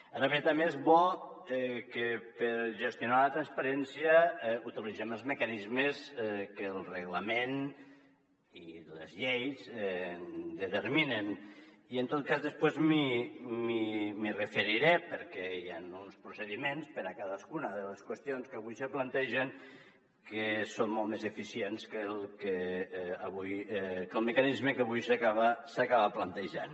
ara bé també és bo que per gestionar la transparència utilitzem els mecanismes que el reglament i les lleis determinen i en tot cas després m’hi referiré perquè hi han uns procediments per a cadascuna de les qüestions que avui se plantegen que són molt més eficients que el mecanisme que avui s’acaba plantejant